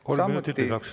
Kolm minutit lisaks.